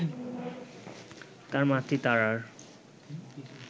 তার মাতৃতারার